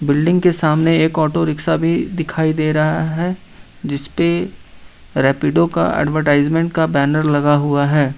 Building के सामने एक ऑटो रिक्शा भी दिखाई दे रहा है जिसपे रैपीडो का एडवर्टाइजमेंट का बैनर लगा हुआ है।